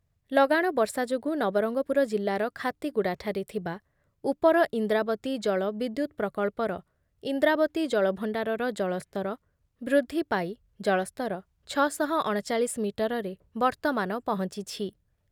ଲଗାଣ ବର୍ଷା ଯୋଗୁଁ ନବରଙ୍ଗପୁର ଜିଲ୍ଲାର ଖାତିଗୁଡ଼ାଠାରେ ଥିବା ଉପର ଇନ୍ଦ୍ରାବତୀ ଜଳ ବିଦ୍ୟୁତ୍ ପ୍ରକଳ୍ପର ଇନ୍ଦ୍ରାବତୀ ଜଳଭଣ୍ଡାରର ଜଳସ୍ତର ବୃଦ୍ଧି ପାଇ ଜଳସ୍ତର ଛଅଶହ ଅଣଚାଳିଶ ମିଟରରେ ବର୍ତ୍ତମାନ ପହଞ୍ଚୁଛି ।